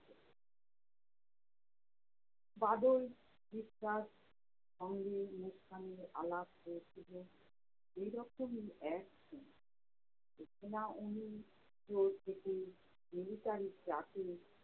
বাদল সঙ্গে মুসকানের আলাপ হয়েছিলো এই রকমই এক দিন। millitary truck এ